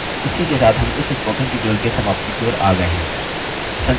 इसी के साथ हम इस spoken tutorial के समाप्ति की ओर आ गये हैं